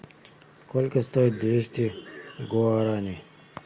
сколько стоит двести гуарани